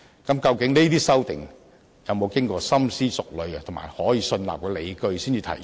究竟這些修訂有否經過深思熟慮及具備可信納的理據才提出？